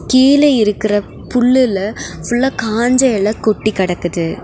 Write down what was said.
கீழ இருக்குற புல்லுல ஃபுல்ல காஞ்ச எல கொட்டி கெடக்குது.